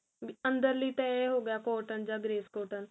B ਅੰਦਰ ਲਈ ਤਾਂ ਇਹ ਹੋ ਗਿਆ cotton ਜਾ grace cotton